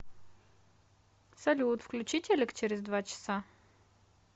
салют включи телек через два часа